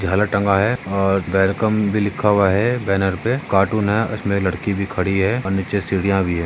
झालर टंगा है और वेलकम भी लिखा हुआ है बैनर पे कार्टून है उसमे एक लड़की भी खड़ी है और नीचे सिडिया भी है।